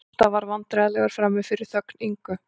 Gústaf varð vandræðalegur frammi fyrir þögn Ingu